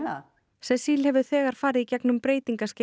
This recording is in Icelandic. cecile hefur þegar farið í gegnum